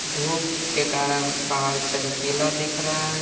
धूप के कारण पहाड़ चमकीला दिख रहा है।